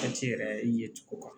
Waati yɛrɛ ye cogo kan